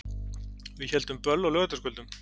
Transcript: Við héldum böll á laugardagskvöldum.